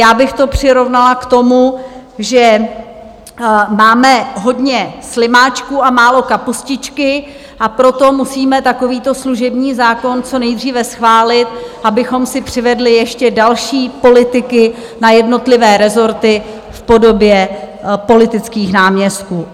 Já bych to přirovnala k tomu, že máme hodně slimáčků a málo kapustičky, a proto musíme takovýto služební zákon co nejdříve schválit, abychom si přivedli ještě další politiky na jednotlivé rezorty v podobě politických náměstků.